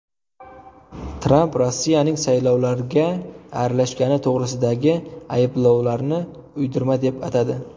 Tramp Rossiyaning saylovlarga aralashgani to‘g‘risidagi ayblovlarni uydirma deb atadi.